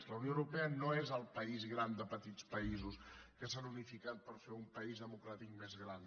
la unió europea no és el país gran de petits països que s’han unificat per fer un país democràtic més gran